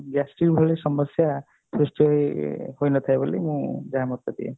gastric ଭଳି ସମସ୍ୟା ସୃଷ୍ଟି ହୋଇ ହୋଇ ନଥାଏ ବୋଲି ମୁଁ ଯାହା ମତ ଦିଏ